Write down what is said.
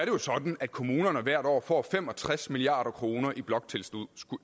jo sådan at kommunerne hvert år får fem og tres milliard kroner i bloktilskud